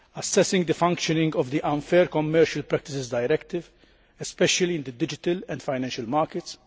and assessing the functioning of the Unfair Commercial Practices Directive, especially in the digital and financial markets.